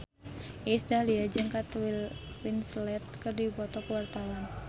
Iis Dahlia jeung Kate Winslet keur dipoto ku wartawan